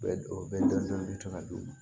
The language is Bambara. Bɛ o bɛ dɔn bɛ to ka d'u ma